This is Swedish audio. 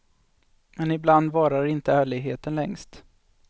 Men ibland varar inte ärligheten längst.